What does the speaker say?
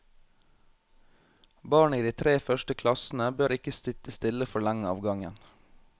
Barn i de tre første klassene bør ikke sitte stille for lenge av gangen.